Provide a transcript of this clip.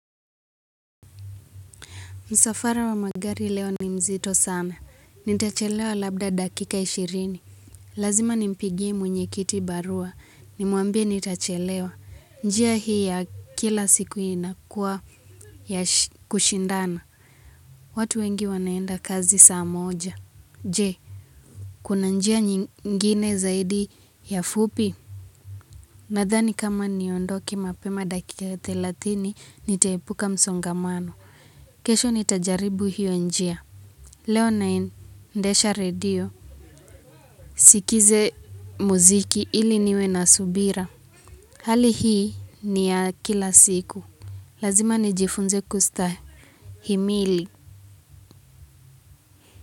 Msafara wa magari leo ni mzito sana. Nitachelewa labda dakika ishirini. Lazima nimpigie mwenyekiti barua. Nimwambie nitachelewa. Njia hii ya kila siku inakuwa ya kushindana. Watu wengi wanaenda kazi saa moja. Je, kuna njia nyingine zaidi ya fupi? Nadhani kama niondoke mapema dakika ya thelathini, nitaepuka msongamano. Kesho nitajaribu hiyo njia. Leo naendesha redio. Sikize muziki ili niwe na subira. Hali hii ni ya kila siku. Lazima nijifunze kustahimili.